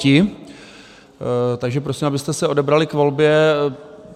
Takže prosím, abyste se odebrali k volbě.